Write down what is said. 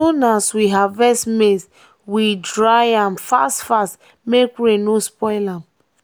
as soon as we harvest maize we dry am fast-fast make rain no spoil am.